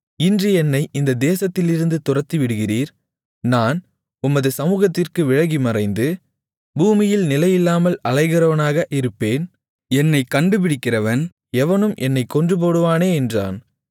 இன்று என்னை இந்த தேசத்திலிருந்து துரத்திவிடுகிறீர் நான் உமது சமுகத்திற்கு விலகி மறைந்து பூமியில் நிலையில்லாமல் அலைகிறவனாக இருப்பேன் என்னைக் கண்டுபிடிக்கிறவன் எவனும் என்னைக் கொன்றுபோடுவானே என்றான்